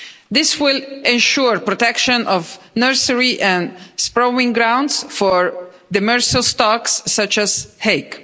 This will ensure protection of nursery and spawning grounds for demersal stocks such as hake.